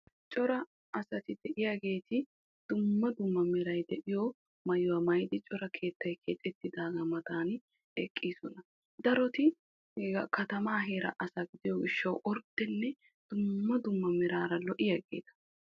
cora asati de'iyaageeti dumma dumma meray diyo maayuwa maayidi ha keettay keexxetidaagaa matan eqqidosona. daroti he katamaa heera asa giddiyo gishawu orddenne dumma dumma meraara lo'iyaageeta.